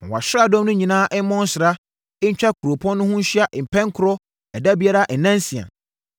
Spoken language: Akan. Ma wʼasraadɔm no nyinaa mmɔ nsra ntwa kuropɔn no ho nhyia pɛnkorɔ ɛda biara nna nsia.